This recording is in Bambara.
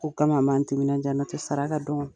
O kama an b'an timinan diya n'o tɛ saraka don